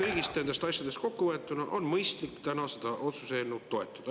Kõiki neid asju on mõistlik täna seda otsuse eelnõu toetada.